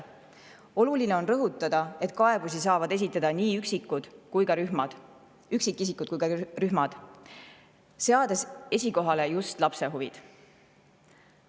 Oluline on rõhutada, et kaebusi saavad esitada nii üksikisikud kui ka rühmad, seades esikohale just lapse huvid.